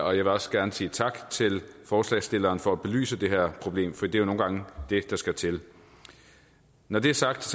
og jeg vil også gerne sige tak til forslagsstillerne for at belyse det her problem for det er jo nogle gange det der skal til når det er sagt